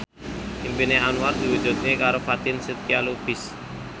impine Anwar diwujudke karo Fatin Shidqia Lubis